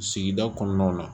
Sigida kɔnɔnaw la